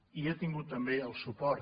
i ha tingut també el suport